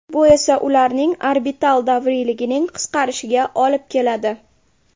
Bu esa ularning orbital davriyligining qisqarishiga olib keladi.